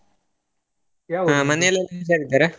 ಮನೆಲೆಲ್ಲಾ ಹುಷಾರಿದ್ದಾರಾ? .